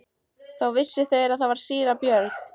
Þá vissu þeir að þar var síra Björn.